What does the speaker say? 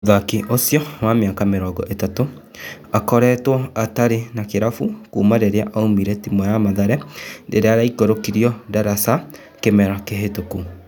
Mũthaki ũcio, wa mĩaka mĩrongo ĩtatũ, akoretwo atarĩ na kĩrabu kuma rĩrĩa aumire timu ya Mathare rĩrĩa yaikũrũkirio ndaraca kĩmera kĩhĩtũku.